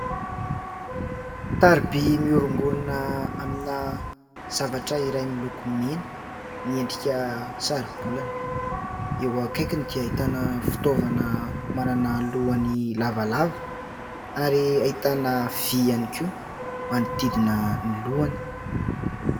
Taroby miorongorona amina zavatra iray miloko mena, miendrika saro-bolana. Eo akaikiny dia ahitana fitaovana manana lohany lavalava ary ahitana vy ihany koa manodidina ny lohany.